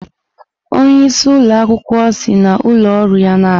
Onye isi ụlọ akwukwuo si n'ụlọ ọrụ ya na-abịa.